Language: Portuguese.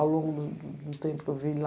Ao longo do do do tempo que eu vi lá.